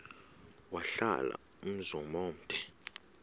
wahlala umzum omde